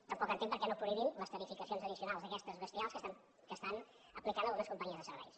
tampoc entenc per què no prohibim les tarificacions addicionals aquestes bestials que estan aplicant algunes companyies de serveis